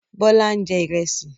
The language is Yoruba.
Bọ́lá ń jẹ Ìrẹ́sì